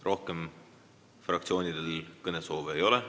Rohkem fraktsioonidel kõnesoove ei ole.